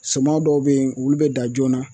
Suman dɔw bɛ yen olu bɛ dan joona